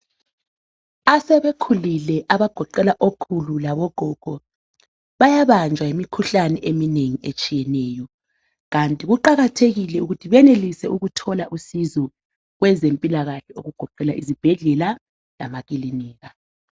Asebekhulile abagoqela okhulu labogogo, bayabanjwa yimikhuhlane eminengi etshiyeneyo, kanti kuqakathekile ukuthi benelise ukuthola usizo kwezempilakahle okugoqela izibhedlela lamakilinika